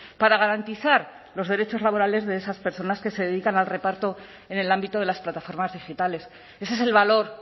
para garantizar los derechos laborales de esas personas que se dedican al reparto en el ámbito de las plataformas digitales ese es el valor